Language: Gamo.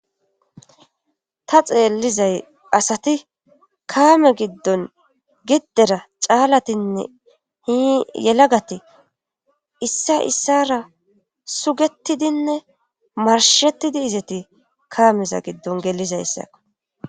ta xeellizay asati kaame giddon giddera caalatinne hiyelagati issa issara sugettidinne marshettidi izeti kaameza giddon gelizaysaakko